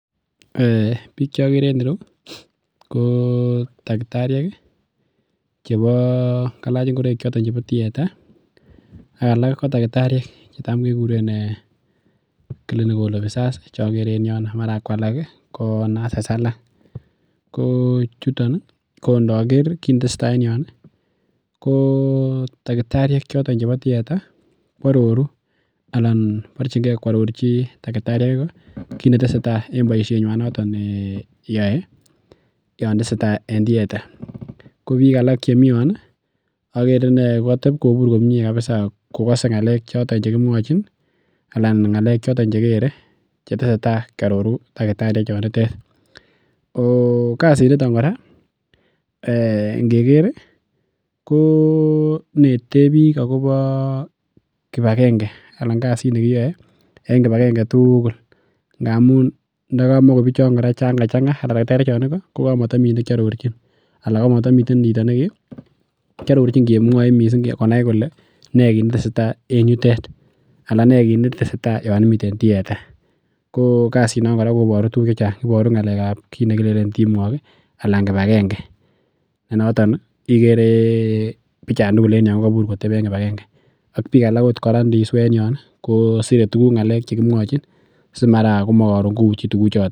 Bik cheokere en ireu ko takitariek ih, kalach ingoraik choton chebo tieta ak alak ko checham kekuren clinical officers cheokere en ireono mara kualak ko nurses alak ko chuton ko ndoker konetestai en yoon ko takitariek choton chebo tieta koaroru anan koborchinke koarorchi takitariek Iko kit netesetai en boisiet nyuan noto ne yoe Yoon tesetai en tieta. Ko bik alak chemi Yoon ko katebkobur en yoon kabisa komie kokase ng'alek choton chekimwachin anan ng'alek choton chekere anan chetesetai kiaroru takitarisiek chonitet kasit niton kora ngeker ih inete bik akobo kibakenge kasit nekiyoe en kibakenge tugul ndamun iniker takitariek chon Iko ko komotomi nekiarorchin anan kamatomo chito nekemwochin konai ne kinetesetai en yutet anan ne kiit netesetai Yoon imiten tietako kasinon koboru tukuk chechang iboru ng'alekab kit nekilenen teamwork anan kibakenge nenoto bichon tugul kokabur koteben kibakenge ak bik alak inisue kosire ng'alek chekimwochin si mara koron komauti.